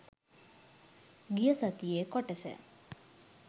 ගිය සතියේ කොටස